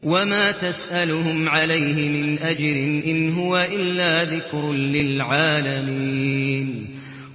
وَمَا تَسْأَلُهُمْ عَلَيْهِ مِنْ أَجْرٍ ۚ إِنْ هُوَ إِلَّا ذِكْرٌ لِّلْعَالَمِينَ